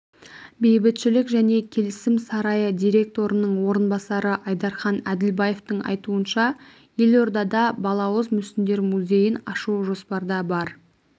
бейбітшілік және келісім сарайы директорының орынбасары айдархан әділбаевтың айтуынша елордада балауыз мүсіндер музейін ашу жоспарда бар